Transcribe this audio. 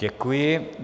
Děkuji.